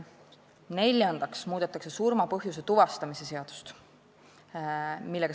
Neljandaks muudetakse surma põhjuse tuvastamise seadust.